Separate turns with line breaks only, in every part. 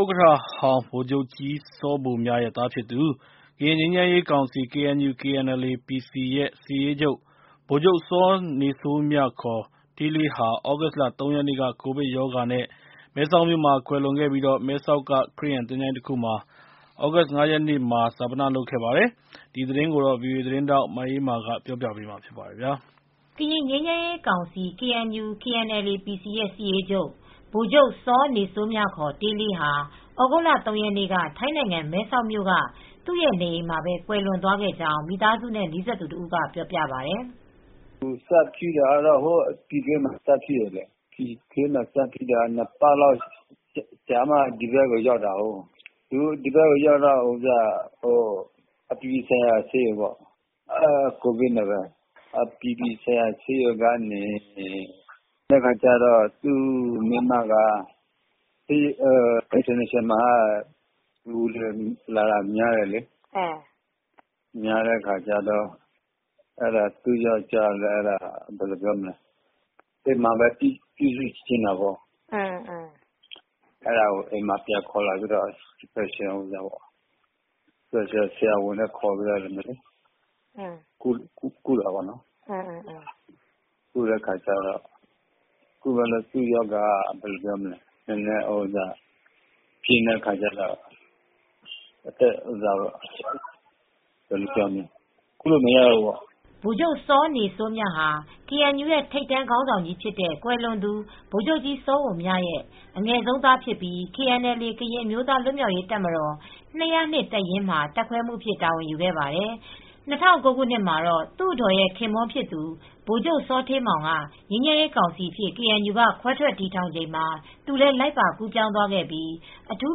ဥက္ကဋ္ဌဟောင်းဗိုလ်ချုပ်ကြီးစောဘိုမြရဲ့သားဖြစ်သူ ကရင်ငြိမ်းချမ်းရေးကောင်စီ (KNU/KNLA-PC) ရဲ့ စစ်ရေးချုပ် ဗိုလ်ချုပ်စောနေစိုးမြ (ခ) တေးလေးဟာ သြဂုတ်လ ၃ ရက်နေ့က ကိုဗစ်ရောဂါနဲ့မဲဆောက်မြို့မှာကွယ်လွန်ခဲ့ပြီး မဲဆောက်က ခရစ်ယာန်သချိုင်းတခုမှာ သြဂုတ်လ ၅ ရက်နေ့က ဈာပနလုပ်ခဲ့ပါတယ်။ ဒီသတင်းကို ဗွီအိုအေသတင်းထောက်မအေးအေးမာက ပြောပြပေးပါမယ်။
ကရင်ငြိမ်းချမ်းရေးကောင်စီ (KNU/KNLA-PC) ရဲ့စစ်ရေးချုပ် ဗိုလ်ချုပ်စောနေစိုးမြ (ခ) တေးလေးဟာ သြဂုတ်လ ၃ ရက်နေ့က ထိုင်းနိုင်ငံ၊ မဲဆောက်မြို့က သူ့ရဲ့နေအိမ်မှာပဲ ကွယ်လွန်သွားခဲ့ကြောင်း မိသားစုနဲ့နီးစပ်သူတဦးက ပြောပြပါတယ်
။ “စဖြစ်တာကတော့ပြည်တွင်းမှာ စဖြစ်တယ်။ စဖြစ်ပြီး ၂ ပတ်လောက်ကြာမှ ဒီဘက်ကိုရောက်တာ။ အပြည်ပြည်ဆိုင်ရာဆေးရုံပေါ့။ ကိုဗစ်နဲ့ပဲ အပြည်ပြည်ဆိုင်ရာဆေးရုံရောက်တယ်။ သူ့အမျိုးသမီးက “အင်တာနေရှင်နယ်ဆေးရုံမှာက လူတွေလာတာ များတယ်။” သူ့ အမျိုးသမီးက အိမ်မှာပဲ ပြန်ပြုစုချင်တာပေါ့
။
အဲဒါကို အိမ်မှာပြန်ခေါ်လာပြီး အိမ်မှာပဲ စပါယ်ရှယ်ဆရာဝန်နဲ့ ခေါ်ပြီးကုတယ်။ သူ့ရော
ဂါက ပြင်းတ
ဲ့အခါကျတော့ ကုမရတေ
ာ့ဘူးပေ့ါ။” ဗိုလ်ချုပ်စောနေစိုးမြဟာ ကေအန်ယူရဲ့ထိပ်တန်းခေါင်းဆောင်ကြီးဖြစ်တဲ့ ကွယ်လွန်သူဗိုလ်ချုပ်ကြီးစောဘိုမြရဲ့အငယ်ဆုံးသားဖြစ်ပြီး KNLA-ကရင်အမျိုးသား လွတ်မြောက်ရေးတပ်မတော် ၂၀၂ တပ်ရင်းမှာ တပ်ခွဲမှူးအဖြစ် တာဝန်ယူခဲ့ပါတယ်။ ၂၀၀၉ ခုနှစ်မှာတော့ သူအဒေါ်ရဲ့ခင်ပွန်းဖြစ်သူ ဗိုလ်ချုပ်ထိန်မောင်က ငြိမ်းချမ်းရေးကောင်စီအဖြစ် ကေအန်ယူက ခွဲထွက်တည်ထောင်ချိန်မှာ သူလည်းလိုက်ပါကူးပြောင်းသွားခဲ့ပြီး အထူး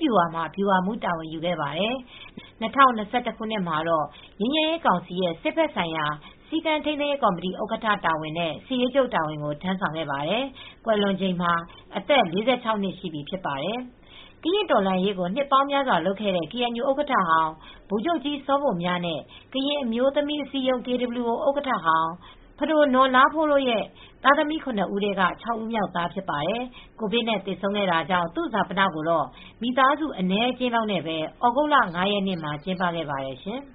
ဗျူဟာမှာ ဗျူဟာမှူးတာဝန်ကိုယူခဲ့ပါတယ်။ ၂၀၂၁ ခုနှစ် မှာတော့ ငြိမ်းချမ်းရေးကောင်စီရဲ့စစ်ဖက်ဆိုင်ရာ စည်းကမ်းထိန်းသိမ်းရေးကော်မတီ ဥက္ကဋ္ဌတာဝန်နဲ့ စစ်ရေးချုပ်တာဝန်ကို ထမ်းဆောင်ခဲ့ပါတယ်။ ကွယ်လွန်ချိန်မှာ အသက် ၄၆ နှစ်ရှိပြီဖြစ်ပါတယ်။ ကရင့်တော်လှန်ရေးကို နှစ်ပေါင်းများစွာလုပ်ခဲ့တဲ့ ကေအန်ယူဥက္ကဋ္ဌဟောင်း ဗိုလ်ချုပ်ကြီးစောဘိုမြနဲ့ ကရင်အမျိုးသမီးအစည်းအရုံး (KWO) ဥက္ကဋ္ဌဟောင်း ပဒိုနော် လားဖိုးတို့ရဲ့သားသမီး ၇ ဦး ထဲက ၆ ဦးမြောက်သားဖြစ်ပါတယ်။ ကိုဗစ်နဲ့ သေဆုံးခဲ့တာကြောင့် သူ့ဈာပနကိုတော့ မိသားစုအနည်းအကျဉ်းလောက်နဲ့ပဲ သြဂုတ်လ ၅ ရက် နေ့မှာ ကျင်းပခဲ့ပါတယ်ရှင်။